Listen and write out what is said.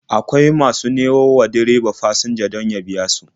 Akwai masu nemo wa direba fasinjoji don ya biya su.